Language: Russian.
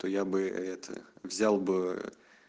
то я бы это взял бы